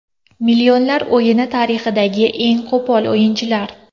Millionlar o‘yini tarixidagi eng qo‘pol o‘yinchilar.